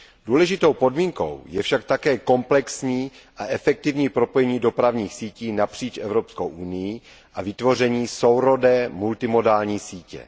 Důležitou podmínkou je však také komplexní a efektivní propojení dopravních sítí napříč Evropskou unií a vytvoření sourodé multimodální sítě.